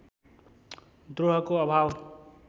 द्रोहको अभाव